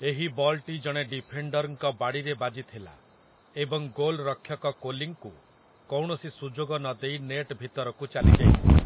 ଏହି ବଲ୍‌ଟି ଜଣେ ଡିଫେଣ୍ଡର୍‌ଙ୍କ ବାଡ଼ିରେ ବାଜିଥିଲା ଏବଂ ଗୋଲରକ୍ଷକ କୋଲିଙ୍କୁ କୌଣସି ସୁଯୋଗ ନଦେଇ ନେଟ୍ ଭିତରକୁ ଚାଲିଯାଇଥିଲା ।